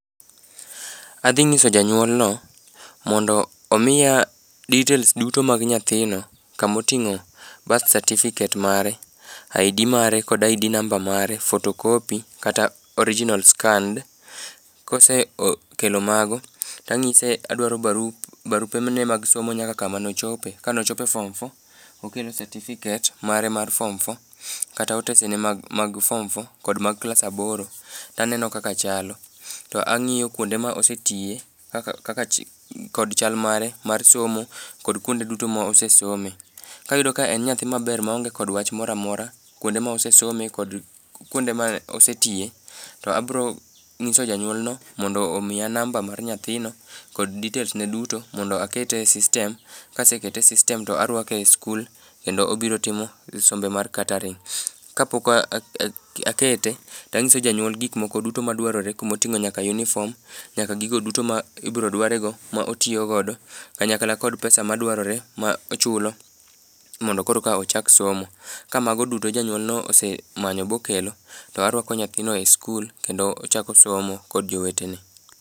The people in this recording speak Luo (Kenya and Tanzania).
Adhi nyiso janyuolno mondo omiya details duto mag nyathino kamoting'o birth certificate mare, ID mare kod ID namba mare, photocopy kata original scanned. Kose kelo mago, tang'ise adwaro barupene mag somo nyaka kama nochope, kane ochopo e form four, okelo satifiket mare mar form four kata otesene mag form four kata mag klas aboro to aneno kaka chalo. To ang'iyo kwonde ma osetiye kod chal mare mar somo, kod kwonde duto mosesome, kayudo ka en nyathi maber maonge kod wach mora mora kwonde mosesome, kod kwonde ma oseyiye, to abiro nyiso janyuolno mondo omiya namba mar nyathino kod details ne duto mondo akete e system, kasekete e system to arwake e skul kendo obiro timo sombe mar catering. Kapok akete, tang'iso janyuol gik moko duto madwarore kuma oting'o nyaka uniform nyaka gigo duto ma ibiro dware go ma otiyo godo kanyakla kod pesa madwarore ma ochulo mondo koro ka ochak somo. Kamago duto janyuolno osemanyo bokelo, to arwako nyathino e skul, kendo ochako somo kod jowetene.